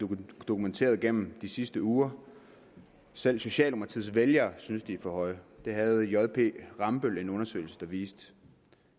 dokumenteret gennem de sidste uger selv socialdemokratiets vælgere synes at de er for høje det havde jp rambøll en undersøgelse der viste